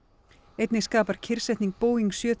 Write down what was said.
einnig skapar kyrrsetning Boeing sjö